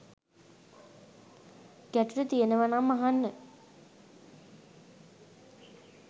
ගැටලු තියනවානම් අහන්න